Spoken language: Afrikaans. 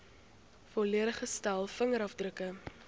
volledige stel vingerafdrukke